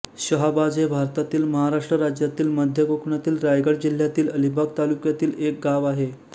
शहाबाज हे भारतातील महाराष्ट्र राज्यातील मध्य कोकणातील रायगड जिल्ह्यातील अलिबाग तालुक्यातील एक गाव आहे